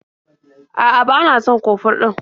A'a, ba na son kofur ɗin.